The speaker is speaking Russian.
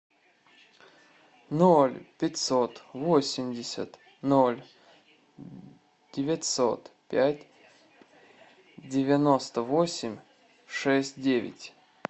ноль пятьсот восемьдесят ноль девятьсот пять девяносто восемь шесть девять